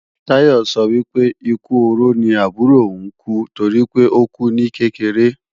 Táyọ sọ wípé, ikú oró ni àbúrò ò ń kú, toripé ókú ní kékeré